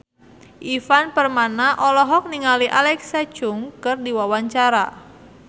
Ivan Permana olohok ningali Alexa Chung keur diwawancara